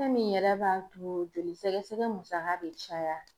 Fɛn min yɛrɛ b'a to joli sɛgɛsɛgɛ musaka be caya